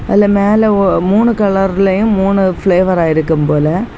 அதுல மேல ஒ மூணு கலர்லயும் மூணு பிளேவரா இருக்கும் போல.